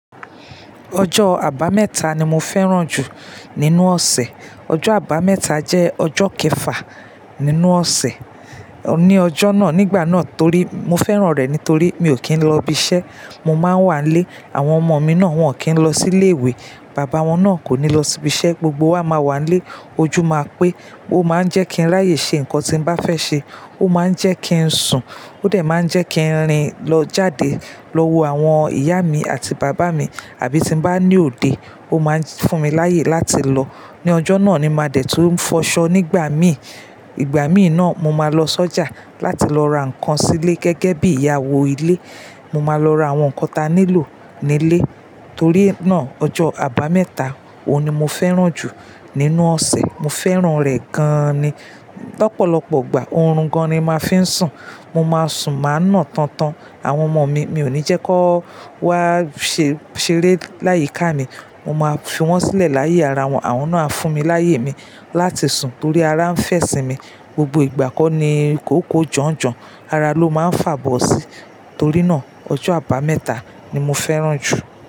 Ọjọ́ Àbámẹ́ta ni mo fẹ́ràn jù nínú ọ̀sẹ̀. Ọjọ́ Àbámẹ́ta jẹ́ ọjọ́ kẹfà nínú ọ̀sẹ̀. Ni ọjọ́ náà, nígbà náà torí mo fẹ́ràn rẹ̀ nítorí mi ò kí ń lọ ibi iṣẹ́, mo máa ń wànlé, àwọn ọmọ mi náà wọ́n ò kí ń lọ sí ilé ìwé, bàbá wọn náà kò ní lọ sí ibi iṣẹ́, gbogbo wa máa wà lé, ojú máa pé, ó máa ń jẹ́ kí n ráyè ṣe nǹkan tí ń bá fẹ́ ṣe, ó máa ń jẹ́ kí ń sùn, ó de máa ń jẹ́ kí n rìn lọ jáde lọ wo àwọn ìyá mi àti bàbá mi àbí tí ń bá ní òde, ó máa ń fún mi láyè láti lọ. Ni ọjọ́ náà ni máa dẹ̀ tún fọṣọ nígbà mi. Ìgbà mi náà mo máa lọ sọ́jà láti lọ ra nǹkan sílé gẹ́gẹ́ bí ìyàwó ilé, mo máa lọ ra àwọn nǹkan tí a nílò nílé. Torí náà ọjọ́ Àbámẹ́ta, òhun ni mo fẹ́ràn jù nínú ọ̀sẹ̀. Mo fẹ́ràn rẹ̀ gan àn ni. Lọ́pọ̀lọ́pọ̀ ìgbà oorun gan ni máa ń fi ń sùn, mo máa sùn máa ń nà tọn tọn. Àwọn ọmọ mi, mi ò ní jẹ́ kó wá se ṣeré láyiká mi, mo máa fi wọ́n sílẹ̀ láyé ara wọn, àwọn náà á fún mi láyè mi láti sùn torí ara ń fẹ́ sinmi. Gbogbo ìgbà kọ́ ni i kòokó janjan, ara ló máa ń fàbọ̀ sí. Torí náà ọjọ́ Àbámẹ́ta ni mo fẹ́ràn jù.